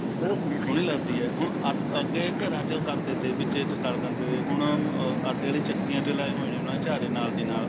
ਉਹ ਬੜੀ ਸੋਹਣੀ ਲੱਗਦੀ ਐ ਹੁਣ ਅੱਗੇ ਘਰ ਚ ਕਰਦੇ ਥੇ ਵਿੱਚ ਵਿੱਚ ਕਰਦੇ ਥੇ ਹੁਣ ਆਟੇ ਆਲੀ ਚੱਕੀ ਦੇ ਨਾਲ ਲਾਏ ਹੋਏ ਨੇ ਚਾਰੇ ਦੇ ਨਾਲ